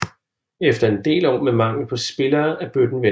Efter en del år med mangel på spillere er bøtten vendt